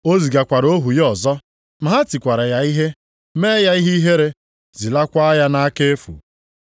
O zigakwara ohu ya ọzọ. Ma ha tikwara ya ihe mee ya ihe ihere, zilakwaa ya nʼaka efu.